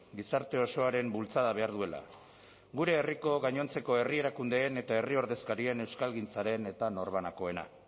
gizarte osoaren bultzada behar duela gure herriko gainontzeko herri erakundeen eta herri ordezkarien euskalgintzaren eta norbanakoena